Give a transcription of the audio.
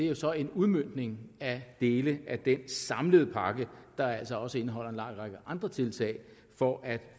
er så en udmøntning af dele af den samlede pakke der altså også indeholder en lang række andre tiltag for at